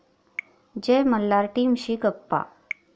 जय मल्हार' टीमशी गप्पा